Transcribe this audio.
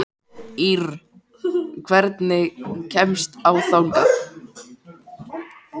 Ýrr, hvernig kemst ég þangað?